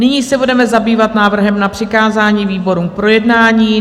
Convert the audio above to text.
Nyní se budeme zabývat návrhem na přikázání výborům k projednání.